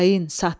Xain, satqın.